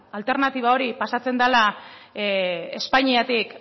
alternatiba hori pasatzen dela espainiatik